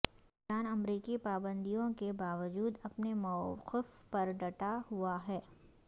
ایران امریکی پابندیوں کے باوجود اپنے موقف پر ڈٹا ہوا ہے